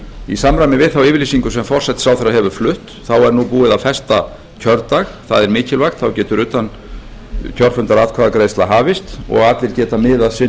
í samræmi við þá yfirlýsingu sem forsætisráðherra hefur flutt er búið að festa kjördag það er mikilvægt þá getur utankjörfundaratkvæðagreiðsla hafist og allir geta miðað sinn